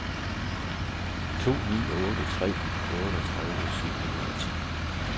to ni otte tre otteogtredive syv hundrede og ti